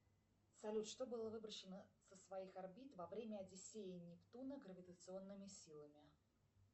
салют что было выброшено со своих орбит во время одиссеи нептуна гравитационными силами